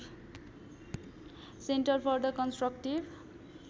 centre for the constructive